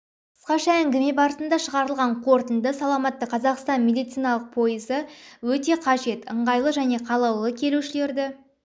қысқаша әңгіме барысында шығарылған қорытынды саламатты қазақстан медициналық пойызы өте қажет ыңғайлы және қалаулы келушілерді